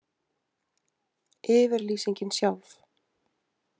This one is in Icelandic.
Yfirlýsingin sjálf.